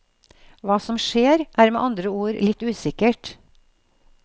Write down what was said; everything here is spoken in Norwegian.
Hva som skjer, er med andre ord litt usikkert.